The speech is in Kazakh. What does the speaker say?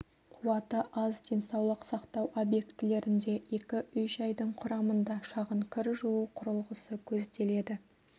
қуаты аз денсаулық сақтау объектілерінде екі үй-жайдың құрамында шағын кір жуу құрылғысы көзделеді